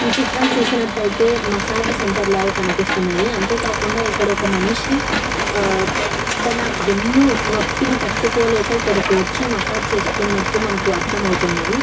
ఏ చిత్రం చూసినట్లు ఐథెయ్ మసాజ్ సెంటర్ ల కనిపిస్తుది అంతే కాకుండా ఇక్కడ ఒక మనిషి అహ్హ్ తన వెన్ను నొప్పిని తతుకోలేక ఇక్కడకి వచ్చి మసాజ్ చేస్తునట్టు మనకి అర్ధం అవుతుంది.